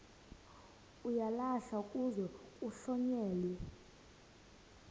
uyalahlwa kuze kuhlonyelwe